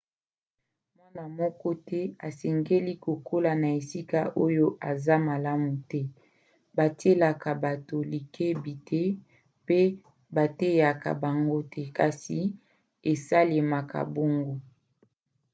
mwana moko te asengeli kokola na esika oyo eza malamu te batielaka bato likebi te mpe bateyaka bango te kasi esalemaka bongo